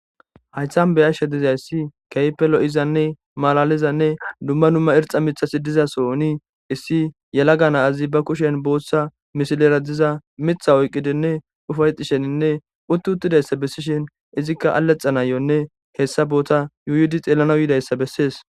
Hayhan be yashshe dizayssi keypelo7izanne malalizanne dumma numma irxa mitasi diza sooni issi yela gana azi ba kushen booththa mishilera diza mitha oyqqidenne ufayxisheninne utti uttidayssa bessishin izikka allexa nayonne hessa boota yuyudi xeellana yuidayssa bessees.